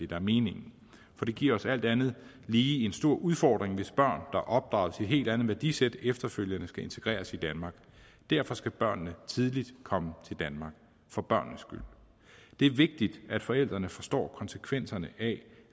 der er meningen for det giver os alt andet lige en stor udfordring hvis børn er opdraget til et helt andet værdisæt efterfølgende skal integreres i danmark derfor skal børnene tidligt komme til danmark for børnenes skyld det er vigtigt at forældrene forstår konsekvenserne af